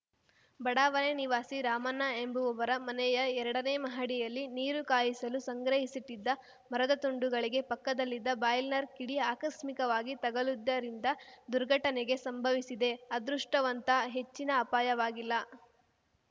ಬಡಾವಣೆ ನಿವಾಸಿ ರಾಮಣ್ಣ ಎಂಬುವವರ ಮನೆಯ ಎರಡನೇ ಮಹಡಿಯಲ್ಲಿ ನೀರು ಕಾಯಿಸಲು ಸಂಗ್ರಹಿಸಿಟ್ಟಿದ್ದ ಮರದ ತುಂಡುಗಳಿಗೆ ಪಕ್ಕದಲ್ಲಿದ್ದ ಬಾಯ್ಲರ್‌ನ ಕಿಡಿ ಆಕಸ್ಮಿಕವಾಗಿ ತಗುಲಿದ್ದರಿಂದ ದುರ್ಘಟನೆಗೆ ಸಂಭವಿಸಿದೆ ಅದೃಷ್ಟವಂತ ಹೆಚ್ಚಿನ ಅಪಾಯವಾಗಿಲ್ಲ